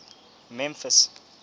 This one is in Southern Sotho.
memphis